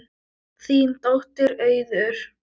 Þín dóttir Auður.